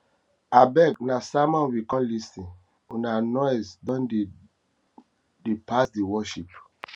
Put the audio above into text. abeg na sermon we come lis ten una voice don dey don dey pass di worship